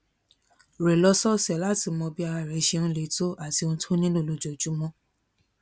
rè lósòòsè láti mọ bí ara rè ṣe ń le tó àti ohun tó nílò lójoojúmó